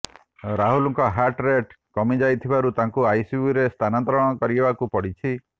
ରାହୁଲଙ୍କ heart rate କମିଯାଇଥିବାରୁ ତାଙ୍କୁ ଆଇସିୟୁରେ ସ୍ଥାନାନ୍ତର କରିବାକୁ ପଡ଼ିଛି